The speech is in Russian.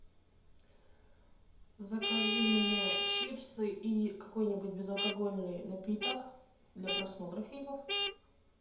закажи мне чипсы и какой нибудь безалкогольный напиток для просмотра фильмов